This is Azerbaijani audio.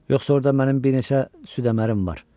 Yoxsa orda mənim bir neçə süddə-mərdim var.